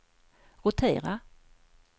rotera